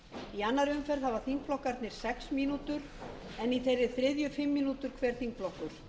í annarri umferð hafa þingflokkarnir sex mínútur en í þeirri þriðju fimm mínútur hver þingflokkur